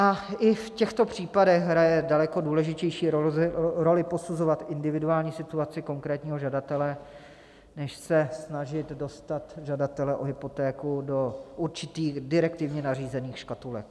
A i v těchto případech hraje daleko důležitější roli posuzovat individuální situaci konkrétního žadatele než se snažit dostat žadatele o hypotéku do určitých direktivně nařízených škatulek.